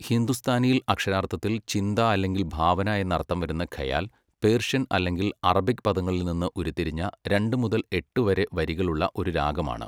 ഹിന്ദുസ്ഥാനിയിൽ അക്ഷരാർത്ഥത്തിൽ ചിന്ത അല്ലെങ്കിൽ ഭാവന എന്നർത്ഥം വരുന്ന ഖയാൽ, പേർഷ്യൻ അല്ലെങ്കിൽ അറബിക് പദങ്ങളിൽ നിന്ന് ഉരുത്തിരിഞ്ഞ, രണ്ട് മുതൽ എട്ട് വരെ വരികളുള്ള ഒരു രാഗമാണ്.